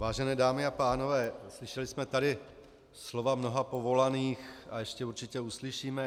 Vážené dámy a pánové, slyšeli jsme tady slova mnoha povolaných a ještě určitě uslyšíme.